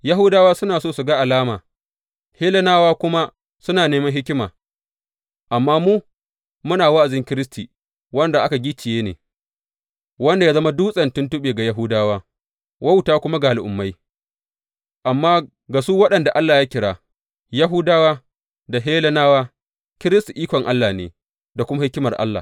Yahudawa suna so su ga alama, Hellenawa kuma suna neman hikima, amma mu, muna wa’azin Kiristi wanda aka gicciye ne, wanda ya zama dutsen tuntuɓe ga Yahudawa, wauta kuma ga Al’ummai, amma ga su waɗanda Allah ya kira, Yahudawa da Hellenawa, Kiristi ikon Allah ne, da kuma hikimar Allah.